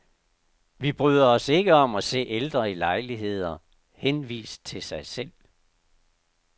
Vi bryder os ikke om at se ældre i lejligheder, henvist til sig selv.